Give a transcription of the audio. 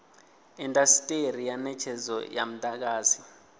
indasiteri ya netshedzo ya mudagasi